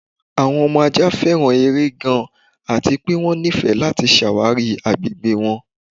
Awọn ọmọ ajá fẹ́ran èrè gàn àti pẹ̀ wọn nífẹ̀ láti ṣáwárí agbẹ̀gbẹ̀ wọn.